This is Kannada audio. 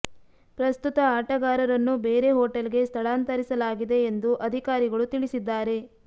ಪ್ರಸ್ತುತ ಆಟಗಾರರನ್ನು ಬೇರೆ ಹೋಟೆಲ್ ಗೆ ಸ್ಥಳಾಂತರಿಸಲಾಗಿದೆ ಎಂದು ಅಧಿಕಾರಿಗಳು ತಿಳಿಸಿದ್ದಾರೆ